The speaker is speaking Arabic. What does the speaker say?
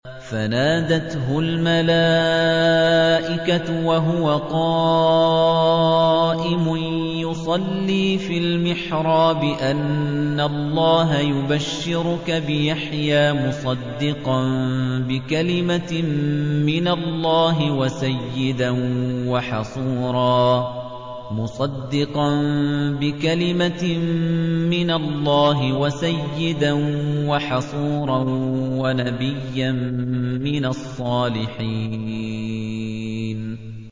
فَنَادَتْهُ الْمَلَائِكَةُ وَهُوَ قَائِمٌ يُصَلِّي فِي الْمِحْرَابِ أَنَّ اللَّهَ يُبَشِّرُكَ بِيَحْيَىٰ مُصَدِّقًا بِكَلِمَةٍ مِّنَ اللَّهِ وَسَيِّدًا وَحَصُورًا وَنَبِيًّا مِّنَ الصَّالِحِينَ